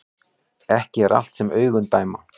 Ekki er allt sem augun dæma